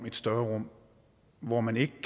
et større rum hvor man ikke